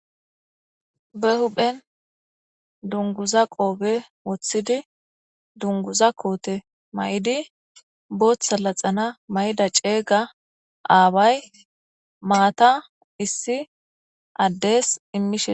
be huphen dunguza qoobe woththidi dunguza koote may7idi booththa laxana may7ida ceeyga aabay maata issi addees immishe